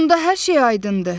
Onda hər şey aydındır.